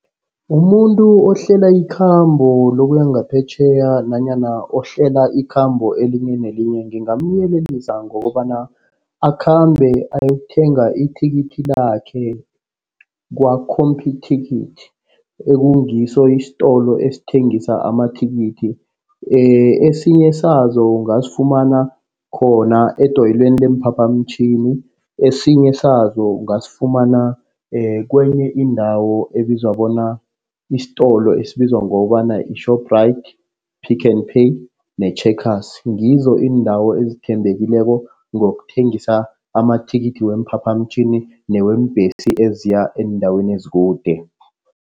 Umuntu ohlela ikhambo lokuya ngaphetjheya nanyana ohlalela ikhambo elinye nelinye. Ngingamyelelisa ngokobana akhambe ayokuthenga ithikithi lakhe kwa-Computicket. Ekungiso isitolo esithengisa amathikithi. Esinye sazo ungasifumana khona edoyilweni leemphaphamtjhini. Esinye sazo ungasifumana kwenye indawo ebizwa bona isitolo esibizwa ngokobana yi-Shoprite, Pick n Pay ne-Checkers ngizo indawo ezithembekileko ngokuthengisa amathikithi weemphaphamtjhini neweembhesi eziya eendaweni ezikude.